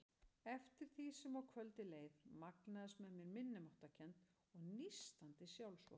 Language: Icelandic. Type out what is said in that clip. Eftir því sem á kvöldið leið magnaðist með mér minnimáttarkennd og nístandi sjálfsvorkunn.